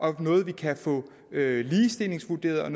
har noget vi kan få ligestillingsvurderet